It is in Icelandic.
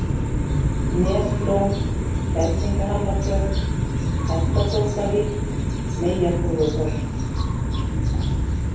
Neslón, Kerlingahamratjörn, Hestatóftavík, Meyjarþúfuholt